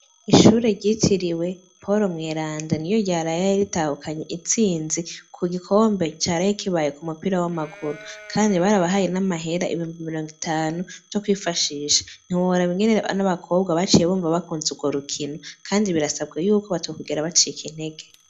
Ishuri ryitiriwe poul mweranda niryo ryaraye ritahukanye itsinzi ku gikombe caraye kibaye ku mupira w'amaguru kandi barabahaye n'amahera ibihumbi mirongo itanu vyo kwifashisha ntiworaba ingene abana baba kobwa baciye bumva bakunze urwo rukino kandi birasabwa yuko batokwigera bacika intege.